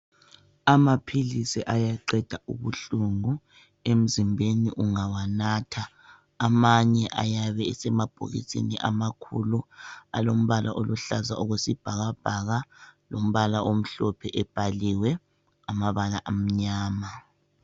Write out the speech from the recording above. Amaphilisi ayaqeda ubuhlungu emzimbeni ungawanatha, amanye ayabe esemabhokisini amakhulu alombala oluhlaza okwesibhakabhaka, lombala omhlophe ebhaliwe amabala amnyama.